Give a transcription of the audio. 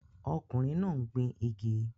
Ọkùnrin náà ń gbin igi